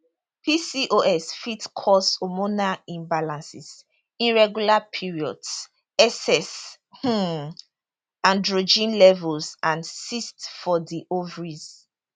pcos fit cause hormonal imbalances irregular periods excess um androgen levels and cysts for di ovaries